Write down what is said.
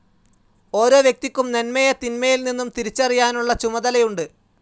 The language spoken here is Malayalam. ഓരോ വ്യക്തിക്കും നന്മയെ തിന്മയിൽ നിന്നും തിരിച്ചറിയാനുള്ള ചുമതലയുണ്ട്.